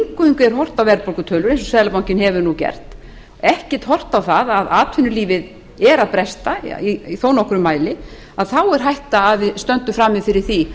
er horft að verðbólgutölur eins og seðlabankinn hefur nú gert ekkert horft á það að atvinnulífið er að bresta í þó nokkrum mæli þá er hætta á að við stöndum frammi fyrir